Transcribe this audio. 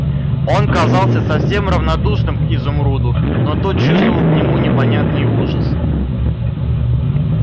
он казался совсем равнодушным к изумруду но тот чувствовал к нему непонятный ужас